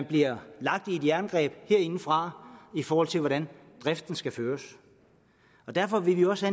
bliver lagt i et jerngreb herindefra i forhold til hvordan driften skal føres og derfor vil vi også